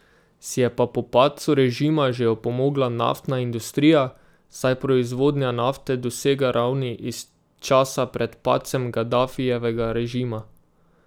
Si je pa po padcu režima že opomogla naftna industrija, saj proizvodnja nafte dosega ravni iz časa pred padcem Gadafijevega režima.